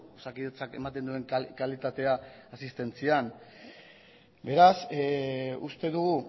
osakidetzak ematen duen kalitatea asistentzian beraz uste dugu